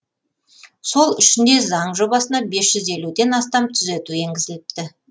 сол үшін де заң жобасына бес жүз елуден астам түзету енгізіліпті